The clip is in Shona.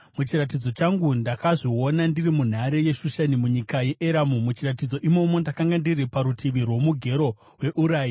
Muchiratidzo changu, ndakazviona ndiri munhare yeShushani munyika yeEramu, muchiratidzo imomo, ndakanga ndiri parutivi rwoMugero weUrai.